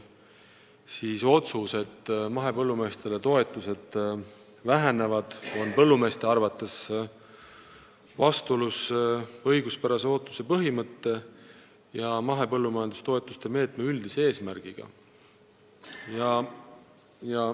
Seega on mahepõllumeeste arvates nendele antavate toetuste vähenemine vastuolus õiguspärase ootuse põhimõtte ja mahepõllumajandustoetuste meetme üldise eesmärgiga.